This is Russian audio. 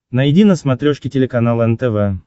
найди на смотрешке телеканал нтв